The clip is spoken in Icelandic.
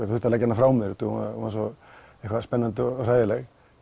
þurfti að leggja hana frá mér hún var svo spennandi og hræðileg